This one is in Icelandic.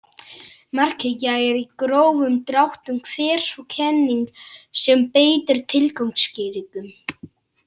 Markhyggja er í grófum dráttum hver sú kenning sem beitir tilgangsskýringum.